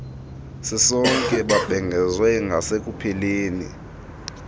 sisonke babhengezwe ngasekupheleni